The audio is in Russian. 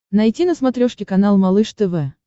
найти на смотрешке канал малыш тв